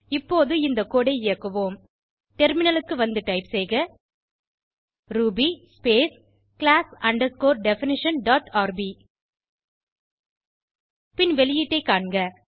இப்போது இந்த கோடு ஐ இயக்குவோம் டெர்மினலுக்கு வந்து டைப் செய்க ruby space class underscore definition dot rb பின் வெளியீட்டை காண்க